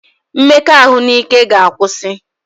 Mmekọahụ n'ike ga akwụsị